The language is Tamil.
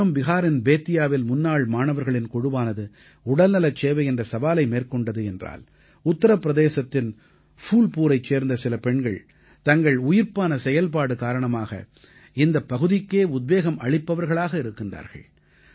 ஒருபுறம் பிஹாரின் பேத்தியாவில் முன்னாள் மாணவர்களின் குழுவானது உடல்நலச் சேவை என்ற சவாலை எதிர்கொண்டது என்றால் உத்திரப் பிரதேசத்தின் ஃபூல்புரைச் சேர்ந்த சில பெண்கள் தங்கள் உயிர்ப்பான செயல்பாடு காரணமாக இந்தப் பகுதிக்கே உத்வேகம் அளிப்பவர்களாக இருக்கின்றார்கள்